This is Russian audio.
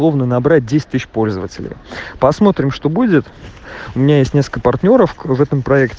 набрать десять тысяч пользователей посмотрим что будет у меня есть несколько партнёров в этом